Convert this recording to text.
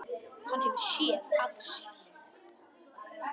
Hann hefur SÉÐ AÐ SÉR.